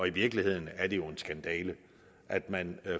i virkeligheden er det jo en skandale at man